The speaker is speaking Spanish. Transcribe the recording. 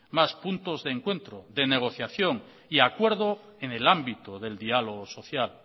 más puntos de encuentro de negociación y acuerdo en el ámbito del diálogo social